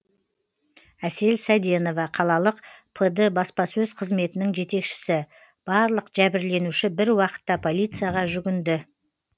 әсел сәденова қалалық пд баспасөз қызметінің жетекшісі барлық жәбірленуші бір уақытта полицияға жүгінді